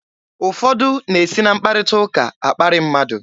Ụfọdụ na-esi na mkparịta ụka akparị mmadụ.